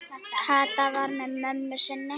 Kata var með mömmu sinni.